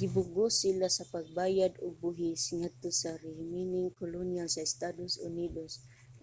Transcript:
gipugos sila sa pagbayad ug buhis ngadto sa rehimeng kolonyal sa estados unidos